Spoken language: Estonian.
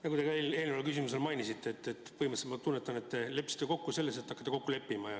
Nagu te ka eelnevale küsimusele vastates mainisite, siis põhimõtteliselt – nii ma tunnetan – te leppisite kokku selles, et hakata kokku leppima.